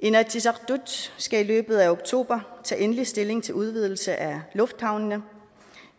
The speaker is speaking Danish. inatsisartut skal i løbet af oktober tage endelig stilling til udvidelse af lufthavnene